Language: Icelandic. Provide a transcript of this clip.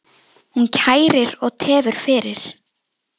Hún kærir og tefur fyrir.